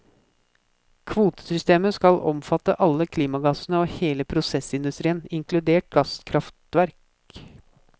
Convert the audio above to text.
Kvotesystemet skal omfatte alle klimagassene og hele prosessindustrien, inkludert gasskraftverk.